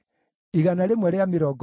na andũ a Harimu maarĩ 320,